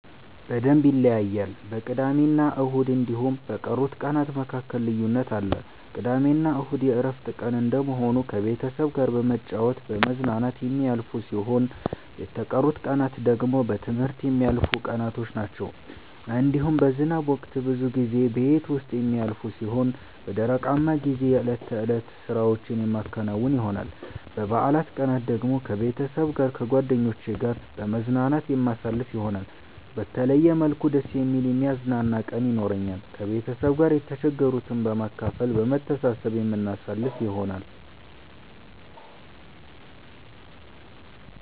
በደምብ ይለያያል በቅዳሜና እሁድ እንዲሁም በቀሩት ቀናት መካከል ልዩነት አለ። ቅዳሜና እሁድ የእረፍት ቀን እንደመሆኑ ከቤተሰብ ጋራ በመጫወት በመዝናናት የሚያልፍ ሲሆን የተቀሩት ቀናት ደግሞ በትምህርት የሚያልፉቀናቶች ናቸዉ። እንዲሁም በዝናብ ወቅት ብዙ ጊዜ ቤት ዉስጥ የሚያልፍ ሲሆን በደረቃማ ጊዜ የእለት ተእለት ስራዎቼን የማከናዉን ይሆናል። በበአላት ቀናት ደግሞ ከቤተሰብ ጋር ከጓደኜቼ ጋራ በመዝናናት የማሳልፍ ይሆናል። በተለየ መልኩ ደስ የሚል የሚያዝናና ቀን የኖራኛል። ከቤተሰብ ጋር የተቸገሩትን በማካፈል በመሰባሰብ የምናሳልፍ ይሆናል።